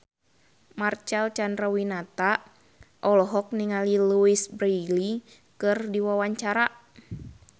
Marcel Chandrawinata olohok ningali Louise Brealey keur diwawancara